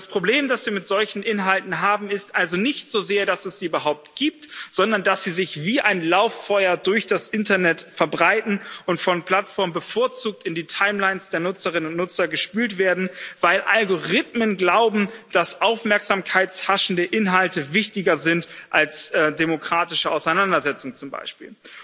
Und das Problem, das wir mit solchen Inhalten haben, ist also nicht so sehr, dass es sie überhaupt gibt, sondern dass sie sich wie ein Lauffeuer durch das Internet verbreiten und von Plattformen bevorzugt in die Timelines der Nutzerinnen und Nutzer gespült werden, weil Algorithmen glauben, dass Aufmerksamkeit haschende Inhalte wichtiger sind als demokratische Auseinandersetzung zum Beispiel.